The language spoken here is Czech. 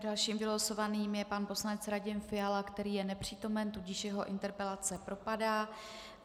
Dalším vylosovaným je pan poslanec Radim Fiala, který je nepřítomen, tudíž jeho interpelace propadá.